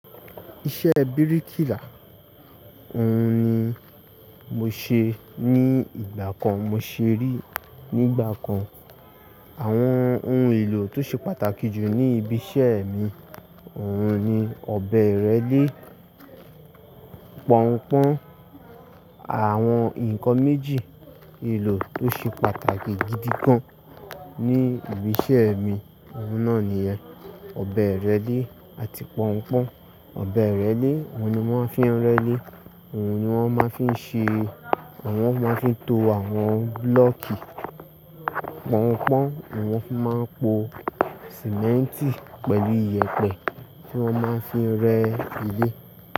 Iṣẹ́ bíríkìlà òun ni mo ṣe ní ìgbà kan. Mo ṣe ri nígbà kan. Àwọn ohun èlò tó ṣe pàtàkì jù ní ibi iṣẹ́ mi òun ni ọ̀bẹ ìrẹ́lé, pọ́nńpọ́n. Àwọn ǹkan méjì èlò tó ṣe pàtàkì gidi gan ní ibi iṣẹ́ mi òun náà nìyẹn, ọ̀bẹ ìrẹ́lé àti pọ́nńpọ́n. Ọ̀bẹ ìrẹ́lé, òun ni wón máa ń fi ń rẹ́lé, òun ni wón máa ń fi ṣe, wón máa ń fi to àwọn búlọ̀kì. Pọ́nńpọ́n, òun na fi máa ń po símẹ́ntì pẹ̀lú iye pẹ̀ tí wọ́n máa ń fi ń rẹ́ ilé.